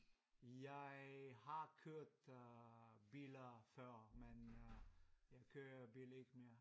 Jeg har kørt kørt øh biler før men øh jeg kører bil ikke mere